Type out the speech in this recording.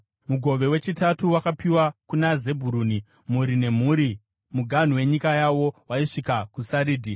Mugove wechitatu wakapiwa kuna Zebhuruni, mhuri nemhuri: Muganhu wenyika yavo waisvika kuSaridhi.